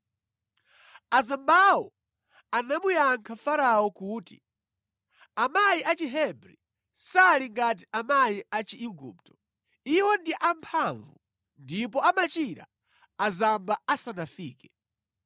Azambawo anamuyankha Farao kuti, “Amayi a Chihebri sali ngati amayi a Chiigupto; Iwo ndi amphamvu ndipo amachira azamba asanafike.”